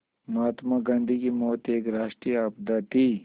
महात्मा गांधी की मौत एक राष्ट्रीय आपदा थी